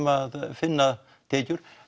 að finna tekjur